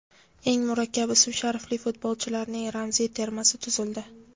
Eng murakkab ism-sharifli futbolchilarning ramziy termasi tuzildi.